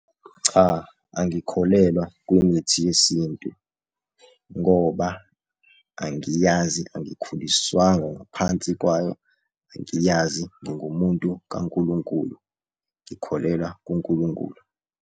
Cha, angikholelwa kwimithi yesintu, ngoba angiyazi angikhuliswanga ngaphansi kwayo. Angiyazi ngingumuntu kaNkulunkulu, ngikholelwa kuNkulunkulu.